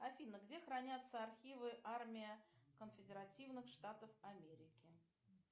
афина где хранятся архивы армия конфедеративных штатов америки